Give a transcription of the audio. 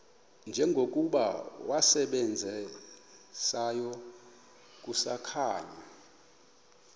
njengokuba wasebenzayo kusakhanya